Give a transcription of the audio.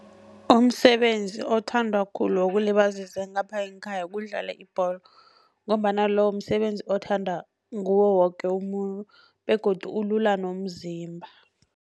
Umsebenzi othandwa khulu wokulibazisa ngapha ngekhaya kudlala ibholo, ngombana lo msebenzi othanda nguwo woke umuntu begodu ulula nomzimba.